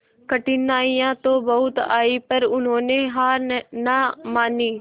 कठिनाइयां तो बहुत आई पर उन्होंने हार ना मानी